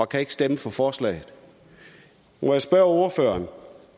kan stemme for forslaget må jeg spørge ordføreren